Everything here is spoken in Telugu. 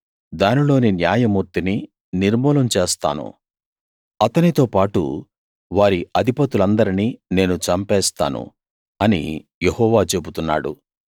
దానిలోని న్యాయమూర్తిని నిర్మూలం చేస్తాను అతనితోపాటు వారి అధిపతులందరిని నేను చంపేస్తాను అని యెహోవా చెబుతున్నాడు